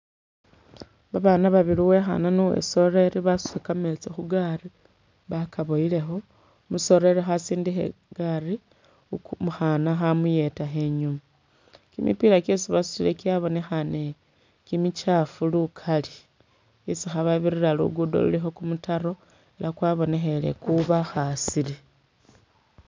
Babana babili uwekhana ni uwesoleli basudile gameetsi khu gaari bagaboyelekho umusoleleli khasindikha i'gaari umukhana khamuyedakho inyuma, gimipila gyesi basudile gyabonekhane gimikyaafu lugali hesi khababirila lugudo lulikho gumutaro ela gwabonekhele gubakhasile.